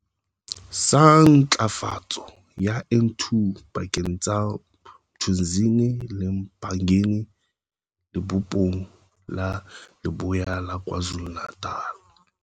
sa Ntlafatso ya N2 pakeng tsa Mthunzini le eMpangeni Lebopong la Leboya la Kwa Zulu-Natal.